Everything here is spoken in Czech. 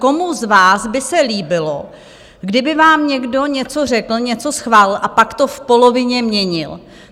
Komu z vás by se líbilo, kdyby vám někdo něco řekl, něco schválil a pak to v polovině měnil?